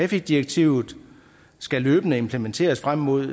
direktivet skal løbende implementeres frem mod